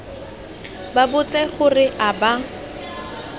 ba botse gore a ba